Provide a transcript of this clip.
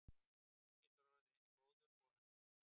Hann getur orðið eins góður og hann vill.